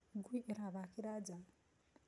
ngui ĩrathakĩra nja.